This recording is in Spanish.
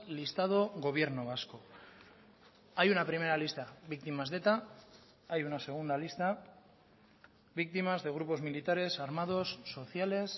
listado gobierno vasco hay una primera lista víctimas de eta hay una segunda lista víctimas de grupos militares armados sociales